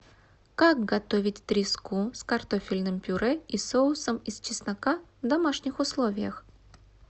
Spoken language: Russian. как готовить треску с картофельным пюре и соусом из чеснока в домашних условиях